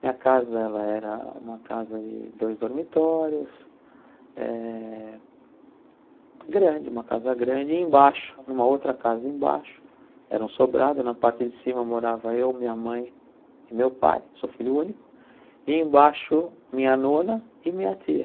Minha casa era uma casa de dois dormitórios, eh grande, uma casa grande, e embaixo, numa outra casa embaixo, eram um sobrado, na parte de cima morava eu, minha mãe e meu pai, sou filho único, e embaixo minha nona e minha tia.